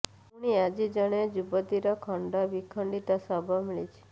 ପୁଣି ଆଜି ଜଣେ ଯୁବତୀର ଖଣ୍ଡ ବିଖଣ୍ଡିତ ଶବ ମିଳିଛି